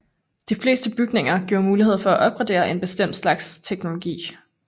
De fleste bygninger giver muligheder for at opgradere en bestemt slags teknologi